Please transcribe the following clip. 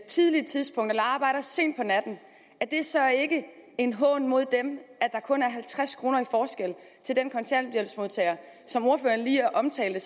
tidligt tidspunkt eller arbejder sent på natten en hån at der kun er halvtreds kroner i forskel til den kontanthjælpsmodtager som ordføreren lige omtalte